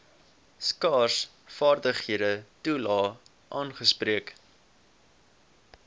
skaarsvaardighede toelae aangespreek